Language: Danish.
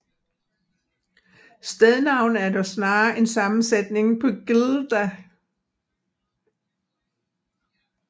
Stednavnet er dog snarere en sammensætning på glda